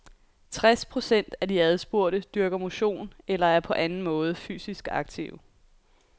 Tres procent af de adspurgte dyrker motion eller er på anden måde fysisk aktive.